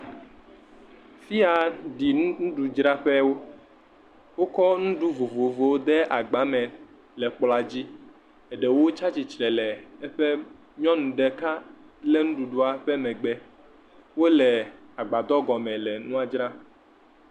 fiya ɖi ŋuɖu dzraƒɛwo wókɔ ŋuɖu vovovowo kɔ de agba mɛ le kplɔ̃a dzi eɖewo tsatsitre le eƒe nyɔŋu ɖeka le ŋɖuɖua ƒe megbe wóle agbadɔ gɔmɛ le ŋua dzram